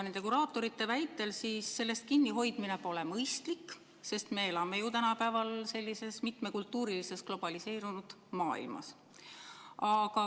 Nende kuraatorite väitel sellest kinnihoidmine pole mõistlik, sest me elame ju tänapäeval mitmekultuurilises globaliseerunud maailmas.